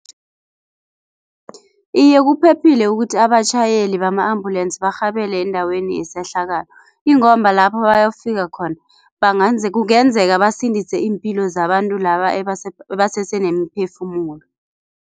Iye kuphephile ukuthi abatjhayeli bama-ambulensi barhabele endaweni yesehlakalo, ingomba lapho bayofika khona kungenzeka basindise iimpilo zabantu laba ebasese nemiphefumulo.